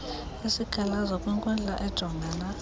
isikhalazo kwinkundla ejongana